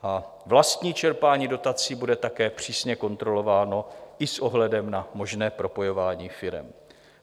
Vlastní čerpání dotací bude také přísně kontrolováno i s ohledem na možné propojování firem.